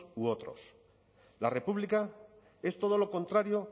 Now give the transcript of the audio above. u otros la república es todo lo contrario